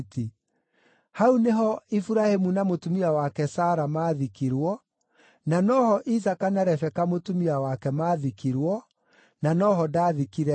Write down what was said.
Hau nĩho Iburahĩmu na mũtumia wake Sara maathikirwo, na no ho Isaaka na Rebeka mũtumia wake maathikirwo, na no ho ndaathikire Lea.